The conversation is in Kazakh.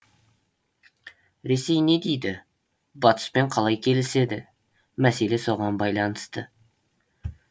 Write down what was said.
ресей не дейді батыспен қалай келіседі мәселе соған байланысты